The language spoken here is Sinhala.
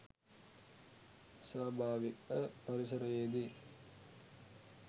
ස්වභාවික පරිසරයේදී